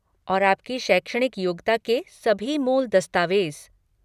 और आपकी शैक्षणिक योग्यता के सभी मूल दस्तावेज।